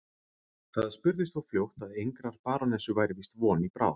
Það spurðist þó fljótt að engrar barónessu væri víst von í bráð.